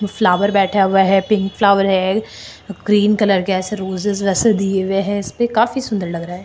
Flower बैठा हुआ है पिंक फ्लावर है क्रीम कलर के ऐसे रोजेज वैसे दिए हुए है इसपे काफी सुन्दर लग रहा है।